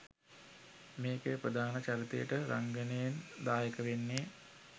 මේකේ ප්‍රධාන චරිතයට රංඟනයෙන් දායක වෙන්නේ.